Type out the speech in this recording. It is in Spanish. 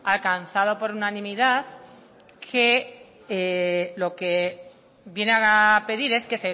alcanzado por unanimidad que lo que viene a pedir es que